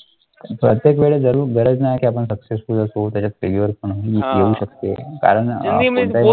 प्रत्येक वेळेस जरूर गरज नाही की आपण successful असू त्याच्यात failure पण येऊ शकते कारण अं